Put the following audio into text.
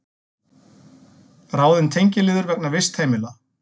Ráðin tengiliður vegna vistheimila